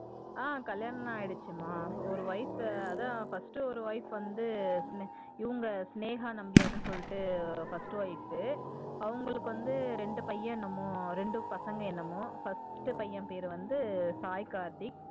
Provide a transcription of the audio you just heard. ஆஹ் கல்யாணம்லாம் ஆயிடுச்சுமா ஒரு wife அதா first ஒரு wife வந்து இவங்க சினேகா நம்பியார்னு சொல்லிட்டு first wife அவங்களுக்கு வந்து ரெண்டு பையன் என்னமோ ரெண்டு பசங்க என்னமோ first பையன் பேரு வந்து சாய் கார்த்திக்